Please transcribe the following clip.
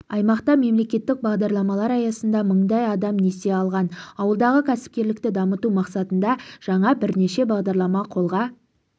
аймақта мемлекеттік бағдарламалар аясында мыңдай адам несие алған ауылдағы кәсіпкерлікті дамыту мақсатында жаңа бірнеше бағдарлама қолға